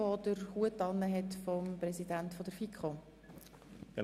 Er trägt nun den Hut des Präsidenten der Finanzkommission.